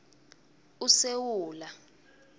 usewula